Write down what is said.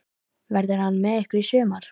Verður hann með ykkur í sumar?